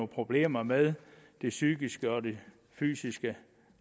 problemer med det psykiske og fysiske